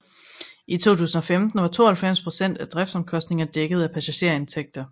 I 2015 var 92 procent af driftsomkostningerne dækket af passagerindtægter